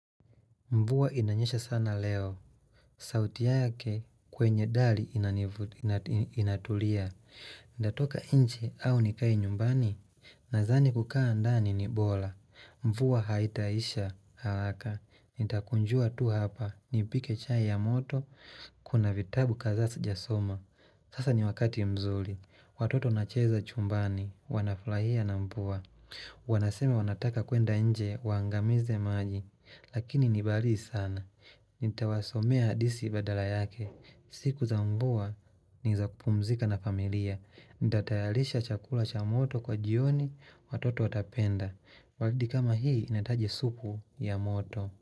Mvua inanyesha sana leo, sauti yake kwenye dali inatulia, natoka nje au nikae nyumbani, nadhani kukaa ndani ni bora, mvua haitaisha haraka, nitakunjua tu hapa, nipike chai ya moto, kuna vitabu kadhaa sijasoma, sasa ni wakati mzuri, watoto nacheza chumbani, wanafurahia na mvua, wanasema wanataka kuenda nje, waangamize maji, Lakini ni baridi sana Nitawasomea hadithi badala yake siku za mvua ni za kupumzika na familia. Nitatayarisha chakula cha moto kwa jioni watoto watapenda. Baridi kama hii inahitaji supu ya moto.